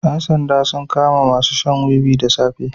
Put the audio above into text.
Yan sanda suka kama masu shan wuwi da safe.